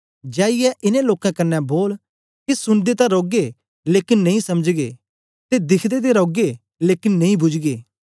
जाईयै इनें लोकें कन्ने बोल के सुनदे ते रौगे लेकन नेई समझगे ते दिखदे ते रौगे लेकन नेई बुझगे